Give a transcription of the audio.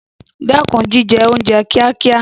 Dẹ́kun jíjẹ oúnjẹ kíákíá